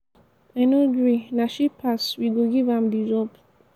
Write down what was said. i no gree na she pass we go give am the job.